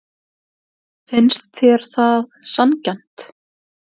Finnst þér það sanngjarnt?